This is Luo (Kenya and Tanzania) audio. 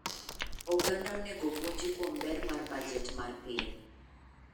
Oganda onego puonji kuom ber mar baget mar piny.